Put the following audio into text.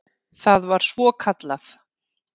Það var svokallað